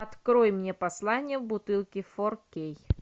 открой мне послание в бутылке фор кей